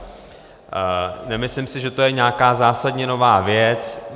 Nemyslím si, že to je nějaká zásadně nová věc.